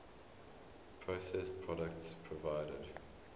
processed products provided